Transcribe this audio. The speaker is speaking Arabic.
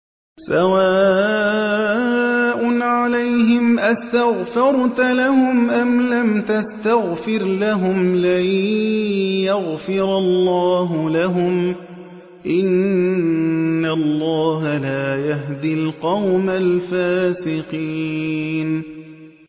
سَوَاءٌ عَلَيْهِمْ أَسْتَغْفَرْتَ لَهُمْ أَمْ لَمْ تَسْتَغْفِرْ لَهُمْ لَن يَغْفِرَ اللَّهُ لَهُمْ ۚ إِنَّ اللَّهَ لَا يَهْدِي الْقَوْمَ الْفَاسِقِينَ